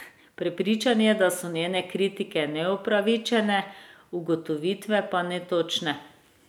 Prepričan je, da so njene kritike neupravičene, ugotovitve pa netočne.